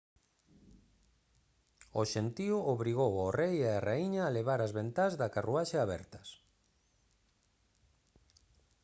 o xentío obrigou ao rei e á raíña a levar as ventás da carruaxe abertas